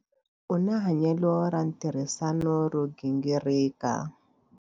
U na hanyelo ra ntirhisano ro gingirika.